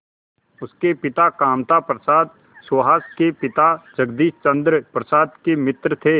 उसके पिता कामता प्रसाद सुहास के पिता जगदीश चंद्र प्रसाद के मित्र थे